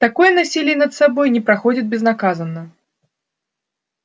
такое насилие над собой не проходит безнаказанно